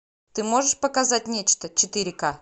ты можешь показать нечто четыре ка